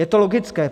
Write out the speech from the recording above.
Je to logické.